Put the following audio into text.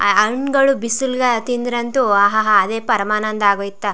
ಆ ಹಣ್ಣುಗಳು ಬಿಸಿಲಿಗೆ ತಿಂದ್ರೆ ಅಂತೂ ಅಹಹ ಅದೇ ಪರಮಾನಂದ ಆಗೋಯ್ತಾ.